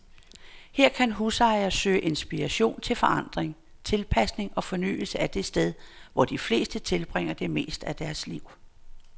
Her kan husejere søge inspiration til forandring, tilpasning og fornyelse af det sted, hvor de fleste tilbringer det meste af deres liv.